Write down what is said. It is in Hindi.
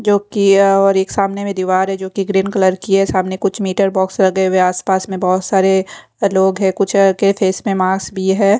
जो की या और एक सामने में दीवार है जो कि ग्रीन कलर की है सामने कुछ मीटर बॉक्स लगे हुए आसपास में बहुत सारे लोग हैं कुछ कैफे मे मास भी है।